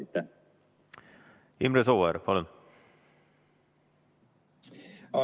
Imre Sooäär, palun!